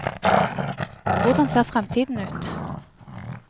Hvordan ser fremtiden ut?